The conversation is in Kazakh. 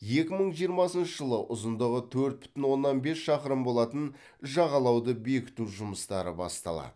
екі мың жиырмасыншы жылы ұзындығы төрт бүтін оннан бес шақырым болатын жағалауды бекіту жұмыстары басталады